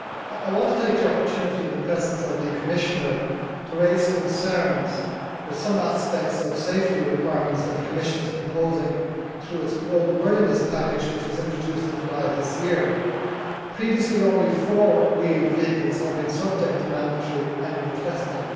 I want to take the opportunity in the presence of the Commissioner to raise concerns about some aspects of the safety requirements that the Commission is proposing through its roadworthiness package which was introduced in July 2012. Previously only four wheel vehicles had been subject to mandatory annual testing